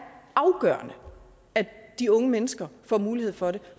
afgørende at de unge mennesker får mulighed for det